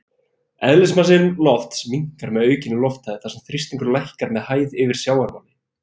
Eðlismassi lofts minnkar með aukinni lofthæð þar sem þrýstingur lækkar með hæð yfir sjávarmáli.